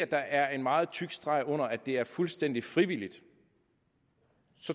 der er en meget tyk streg under at det er fuldstændig frivilligt